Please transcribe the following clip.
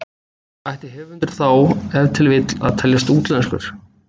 Ætti höfundur þá ef til vill að teljast útlenskur?